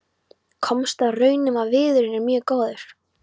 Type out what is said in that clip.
Komst að raun um að viðurinn er mjög góður.